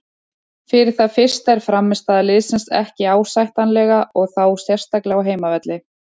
Fyrir það fyrsta er frammistaða liðsins ekki ásættanlega og þá sérstaklega á heimavelli.